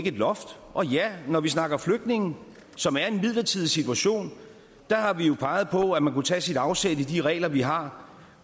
et loft når vi snakker flygtninge som er i en midlertidig situation har vi jo peget på at man kunne tage afsæt i de regler vi har